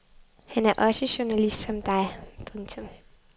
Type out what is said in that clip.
Han er også journalist som dig. punktum